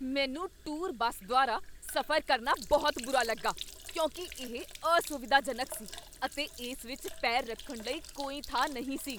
ਮੈਨੂੰ tour bus ਦੁਆਰਾ ਸਫ਼ਰ ਕਰਨਾ ਬਹੁਤ ਬੁਰਾ ਲੱਗਾ ਕਿਉਂਕਿ ਇਹ ਅਸੁਵਿਧਾਜਨਕ ਸੀ ਅਤੇ ਇਸ ਵਿਚ ਪੈਰ ਰੱਖਣ ਲਈ ਕੋਈ ਥਾਂ ਨਹੀਂ ਸੀ।